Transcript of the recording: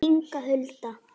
Inga Huld.